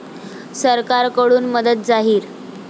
सरकारकडून मदत जाहीर